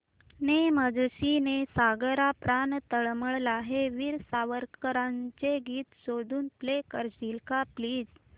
ने मजसी ने सागरा प्राण तळमळला हे वीर सावरकरांचे गीत शोधून प्ले करशील का प्लीज